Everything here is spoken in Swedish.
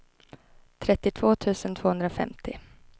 trettiotvå tusen tvåhundrafemtio